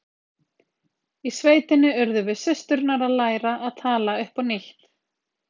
Í sveitinni urðum við systurnar að læra að tala upp á nýtt.